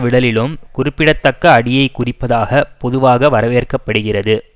விடலிலும் குறிப்பிடத்தக்க அடியைக் குறிப்பதாக பொதுவாக வரவேற்கப்படுகிறது